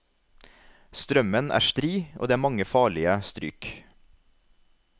Strømmen er stri og det er mange farlige stryk.